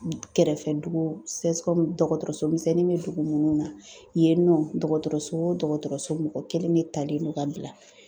Kɛrɛfɛ dugu CSCOM dɔgɔtɔrɔso misɛnnin bɛ dugu munnu na yen nɔ dɔgɔtɔrɔso o dɔgɔtɔrɔso mɔgɔ kelen de talen don k'a bila